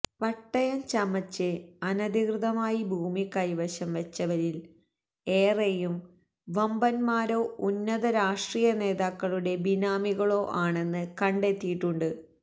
പട്ടയം ചമച്ച് അനധികൃതമായി ഭൂമി കൈവശം വെച്ചവരില് ഏറെയും വമ്പന്മാരോ ഉന്നത രാഷ്ട്രീയ നേതാക്കളുടെ ബിനാമികളോ ആണെന്ന് കണ്ടെത്തിയിട്ടുണ്ട്